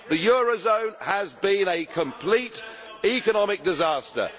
The eurozone has been a complete economic disaster.